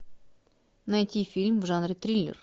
найти фильм в жанре триллер